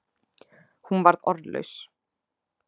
Hún varð orðlaus.